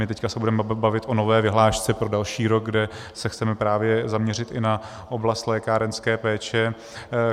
My teď se budeme bavit o nové vyhlášce pro další rok, kde se chceme právě zaměřit i na oblast lékárenské péče.